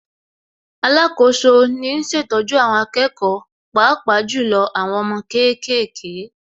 Alákoso ni ń ṣètọ́jú àwọn akẹ́kọ̀ọ́ Pàápàá jù lọ àwọn ọmọ kéékèèké